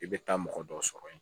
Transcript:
I bɛ taa mɔgɔ dɔ sɔrɔ yen